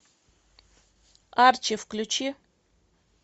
арчи включи